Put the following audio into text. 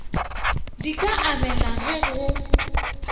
di ka abelwa ge go